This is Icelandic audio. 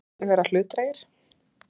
Fannst þér þeir vera hlutdrægir?